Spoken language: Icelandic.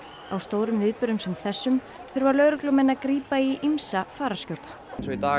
á stórum viðburðum sem þessum þurfa lögreglumenn að grípa í ýmsa fararskjóta í dag